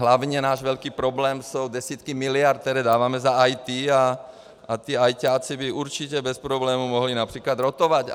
Hlavně náš velký problém jsou desítky miliard, které dáváme za IT, a ti ajťáci by určitě bez problému mohli například rotovat.